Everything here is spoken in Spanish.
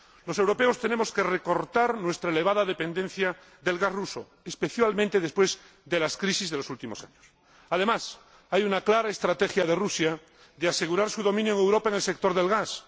Los europeos tenemos que recortar nuestra elevada dependencia del gas ruso, especialmente después de las crisis de los últimos años. Además, hay una clara estrategia de Rusia para asegurar su dominio en Europa en el sector del gas.